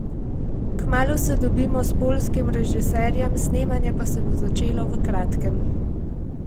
Kmalu se dobimo s poljskim režiserjem, snemanje pa se bo začelo v kratkem.